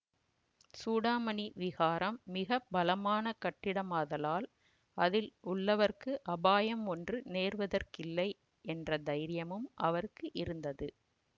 சூடாமணி விஹாரம் மிக பலமான கட்டிடமாதலால் அதில் உள்ளவர்க்கு அபாயம் ஒன்றும் நேருவதற்கில்லை என்ற தைரியமும் அவருக்கு இருந்தது